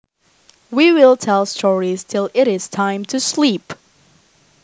We will tell stories till it is time to sleep